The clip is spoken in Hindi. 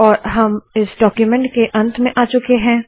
और हम इस डाक्यूमेन्ट के अंत में आ चुके है